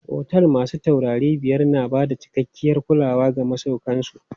Otel masu taurari biyar na bada cikakkiyar kulawa ga masauƙan su.